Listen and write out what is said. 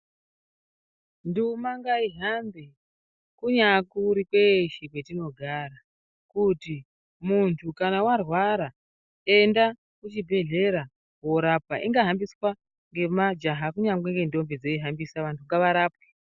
Nduma ngaihambe kunyari kuri kwatinogara kuti mundu kana arwara enda kuchibhedhlera korapwa ingafambiswa ngemajaha kunyangwe ngntombi dzeihambisa vantu ngavarapwe.